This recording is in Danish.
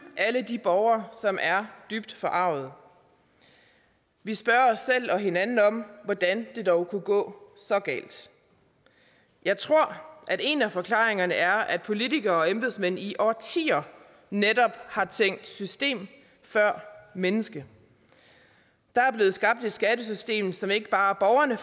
alle de borgere som er dybt forargede vi spørger os selv og hinanden om hvordan det dog kunne gå så galt jeg tror en af forklaringerne er at politikere og embedsmænd i årtier netop har tænkt systemet før mennesket der er blevet skabt et skattesystem som ikke bare borgerne